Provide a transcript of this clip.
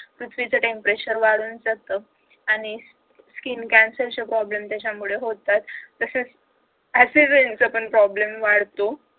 पृथ्वीच temperature वाढून जातो आणि skin cancer चे problem त्याच्यामुळे होतात तसेच acid raining चा problem पण वाढतो